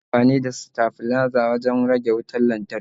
Ana amfani da stafliza wajan rage wutar lantarki